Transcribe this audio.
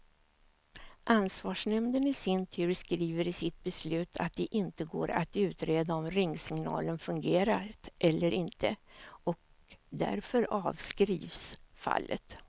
Ansvarsnämnden i sin tur skriver i sitt beslut att det inte går att utreda om ringsignalen fungerat eller inte, och därför avskrivs fallet.